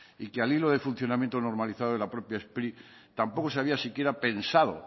y que al hilo del funcionamiento normalizado de la propia spri tampoco se había siquiera pensado